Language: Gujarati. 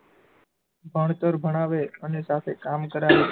ભણતર ભણાવે અને સાથે કામ કરાવે